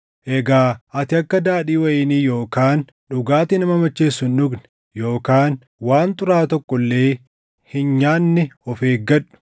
Egaa ati akka daadhii wayinii yookaan dhugaatii nama macheessu hin dhugne yookaan waan xuraaʼaa tokko illee hin nyaanne of eeggadhu;